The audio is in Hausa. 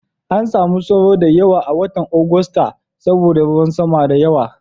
An samu sauro da yawa a watan Agusta saboda ruwan sama da yawa.